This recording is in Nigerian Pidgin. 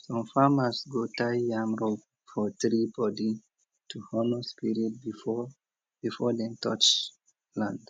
some farmers go tie yam rope for tree body to honour spirit before before dem touch land